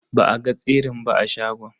Ba a ga tsirin ba a shagon.